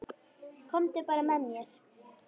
Komdu bara með mér.